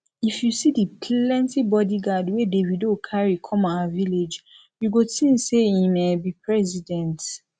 if you see the plenty bodyguard wey davido carry come our village you go think say im um be president